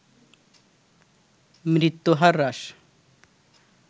মৃত্যু হার হ্রাস